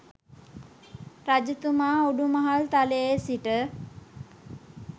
රජතුමා උඩුමහල් තලයේ සිට